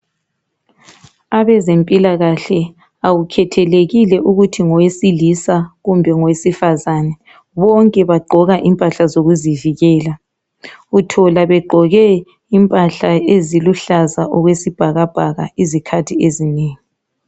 Abezempilakahle akukhethelekile ukuthi ngowesilisa kumbe ngowesifazana bonke bagqoka impahla zokuzivikela .Uthola begqoke impahla eziluhlaza okwesibhakabhaka izikhathi ezinengi.